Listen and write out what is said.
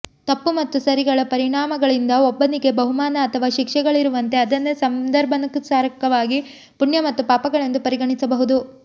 ತಪ್ಪು ಮತ್ತು ಸರಿಗಳ ಪರಿಣಾಮಗಳಿಂದ ಒಬ್ಬನಿಗೆ ಬಹುಮಾನ ಅಥವಾ ಶಿಕ್ಷೆಗಳಿರುವಂತೆ ಅದನ್ನೇ ಸಂದರ್ಭಕ್ಕನುಸಾರವಾಗಿ ಪುಣ್ಯ ಮತ್ತು ಪಾಪಗಳೆಂದು ಪರಿಗಣಿಸಬಹುದು